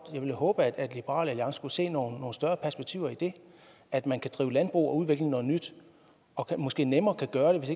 ville håbe at liberal alliance kunne se nogle større perspektiver i det at man kan drive landbrug og udvikle noget nyt og måske nemmere kan gøre det hvis